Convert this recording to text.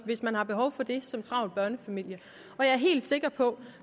hvis man har behov for det som travl børnefamilie og jeg er helt sikker på